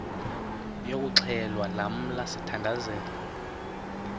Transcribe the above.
yokuxhelwa lamla sithandazel